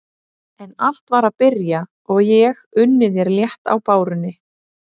En allt var að byrja og ég unni þér létt á bárunni.